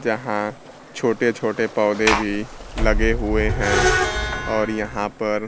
जहां छोटे छोटे पौधे भी लगे हुए हैं और उनका यहां पर--